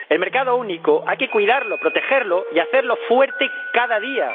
El mercado único hay que cuidarlo, protegerlo y hacerlo fuerte cada día.